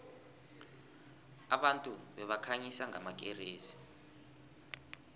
abantu babekhanyisa ngamakeresi